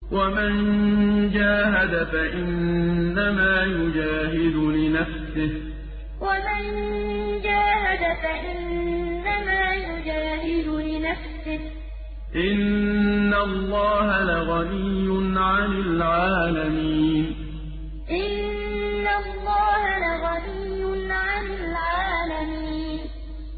وَمَن جَاهَدَ فَإِنَّمَا يُجَاهِدُ لِنَفْسِهِ ۚ إِنَّ اللَّهَ لَغَنِيٌّ عَنِ الْعَالَمِينَ وَمَن جَاهَدَ فَإِنَّمَا يُجَاهِدُ لِنَفْسِهِ ۚ إِنَّ اللَّهَ لَغَنِيٌّ عَنِ الْعَالَمِينَ